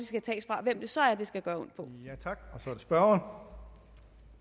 hvem det så er det skal gøre